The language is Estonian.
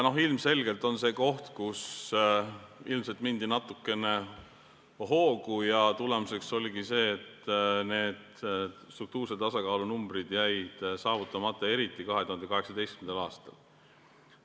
Ilmselgelt on siin see koht, kus ilmselt mindi natukene hoogu, ja tulemuseks oli see, et struktuurse tasakaalu numbrid jäid saavutamata, eriti 2018. aastal.